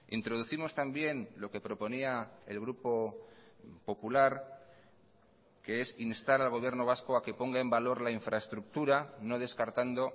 introducimos también lo que proponía el grupo popular que es instar al gobierno vasco a que ponga en valor la infraestructura no descartando